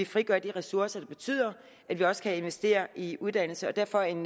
frigør de ressourcer der betyder at vi også kan investere i uddannelse derfor en